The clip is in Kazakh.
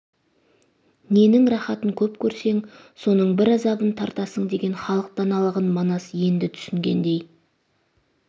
ненің рахатын көп көрсең соның бір азабын тартасың деген халық даналығын манас енді түсінгендей